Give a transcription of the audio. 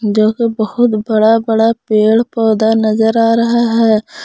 जोकि बहुत बड़ा बड़ा पेड़ पौधा नजर आ रहा है।